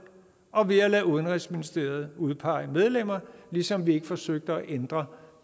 og ved at lade udenrigsministeriet udpege medlemmer ligesom vi ikke forsøgte at ændre